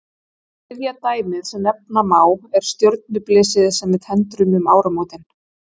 Þriðja dæmið sem nefna má er stjörnublysið sem við tendrum um áramótin.